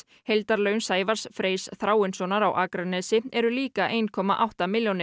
heildarlaun Sævars Freys Þráinssonar á Akranesi eru líka eitt komma átta milljónir